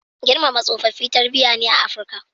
Girmama tsofaffi tarbiyya ne a Afrika.